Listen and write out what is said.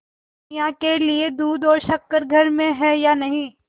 सेवैयों के लिए दूध और शक्कर घर में है या नहीं